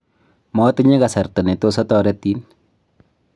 matinye kasarta ne tos atoretin